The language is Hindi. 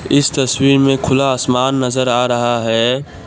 इस तस्वीर में खुला आसमान नजर आ रहा है।